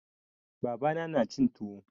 Baba na na cin tuwo.